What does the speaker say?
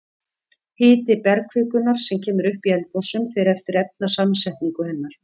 Hiti bergkvikunnar sem kemur upp í eldgosum fer eftir efnasamsetningu hennar.